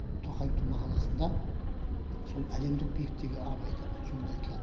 тоқаевтың мақаласында сол әлемдік биіктегі абай тану жөнінде айтылады